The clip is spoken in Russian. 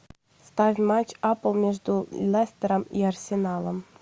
ставь матч апл между лестером и арсеналом